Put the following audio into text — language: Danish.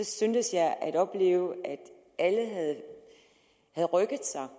syntes jeg at opleve at alle havde rykket sig